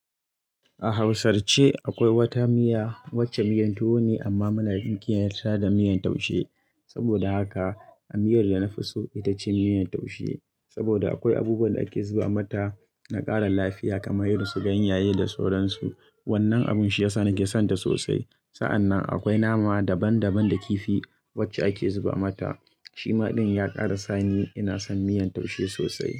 A Hausar ce akwai wata miya, wacce miyan tuwo ne amma muna inkiya ta da miyan taushe. Saboda haka a miyar da na fi so ita ce miyan taushe saboda akwai abubuwan da ake zuba mata na ƙara lafiya kamar irin su ganyaye da sauransu. Wannan abun shi ya sa nake son ta sosai. Sa'an nan akwai nama daban-daban da kifi wacce ake zuba mata. Shi ma din ya ƙara sa ni ina son miyan taushe sosai.